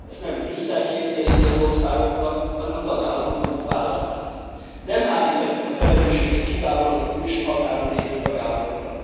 Ezt nem Brüsszel kényszeríti az országokra, hanem a tagállamok maguk vállalták. Nem háríthatjuk a felelősséget kizárólag a külső határon lévő tagállamokra.